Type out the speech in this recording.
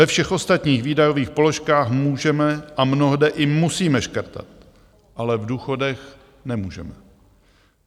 Ve všech ostatních výdajových položkách můžeme a mnohde i musíme škrtat, ale v důchodech nemůžeme.